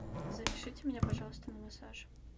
запишите меня пожалуйста на массаж